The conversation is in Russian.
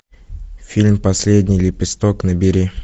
фильм последний лепесток набери